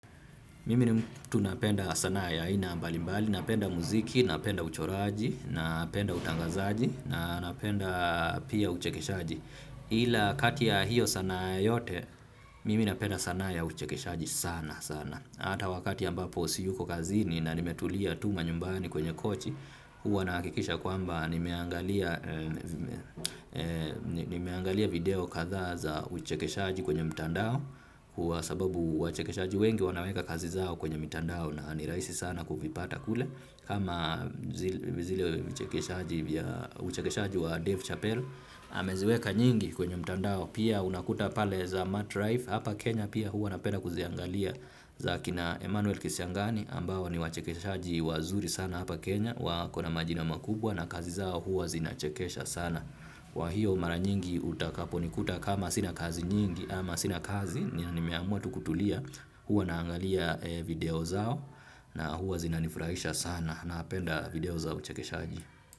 Mimi ni mtu napenda sanaa ya aina mbalimbali, napenda muziki, napenda uchoraji, napenda utangazaji, napenda pia uchekeshaji. Ila kati ya hiyo sanaa yote, mimi napenda sana ya uchekeshaji sana sana. Hata wakati ambapo siyuko kazini na nimetulia tu manyumbani kwenye kochi, huwa nahakikisha kwamba nimeangalia video kadhaa za uchekeshaji kwenye mtandao. Kwa sababu wachekeshaji wengi wanaweka kazi zao kwenye mitandao na ni rahisi sana kuvipata kule. Kama zile uchekeshaji wa Dave Chappelle ameziweka nyingi kwenye mtandao pia unakuta pale za Matt Rife. Hapa Kenya pia huwa napenda kuziangalia. Za kina Emmanuel Kisiangani ambao ni wachekeshaji wazuri sana hapa Kenya. Wako na majina makubwa na kazi zao huwa zinachekesha sana. Kwa hiyo mara nyingi utakaponikuta kama sina kazi nyingi ama sina kazi ni na nimeamua tu kutulia huwa naangalia video zao na huwa zinanifurahisha sana napenda video za uchekeshaaji.